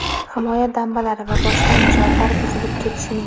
himoya dambalari va boshqa inshootlar buzilib ketishining;.